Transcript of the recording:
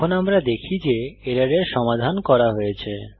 এখন আমরা দেখি যে এররের সমাধান করা হয়েছে